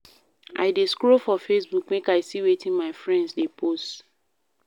I dey scroll for Facebook make I see wetin my friends dey post.